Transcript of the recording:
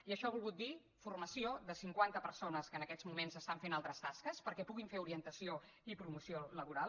i això ha volgut dir formació de cinquanta persones que en aquests moments estan fent altres tasques perquè puguin fer orientació i promoció laboral